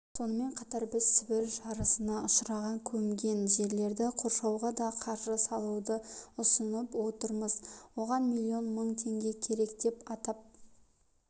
сонымен қатар біз сібір жарасына ұшыраған көмген жерлерді қоршауға да қаржы салуды ұсынып отырмыз оған миллион мың теңге керек деп атап